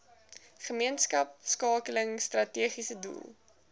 gemeenskapskakeling strategiese doel